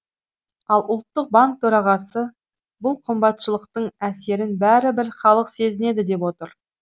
ал ұлттық банк төрағасы бұл қымбатшылықтың әсерін бәрібір халық сезінеді деп отыр